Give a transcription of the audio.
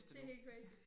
Det helt crazy